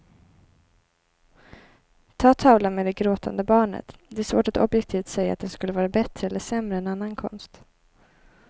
Ta tavlan med det gråtande barnet, det är svårt att objektivt säga att den skulle vara bättre eller sämre än annan konst.